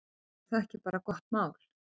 Er það ekki bara gott mál?